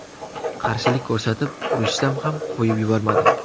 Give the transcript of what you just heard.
Qarshilik ko‘rsatib, urushsam ham qo‘yib yubormadi.